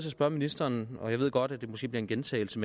at spørge ministeren og jeg ved godt at det måske bliver en gentagelse